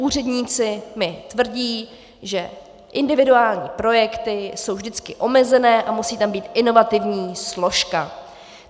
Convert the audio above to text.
Úředníci mi tvrdí, že individuální projekty jsou vždycky omezené a musí tam být inovativní složka.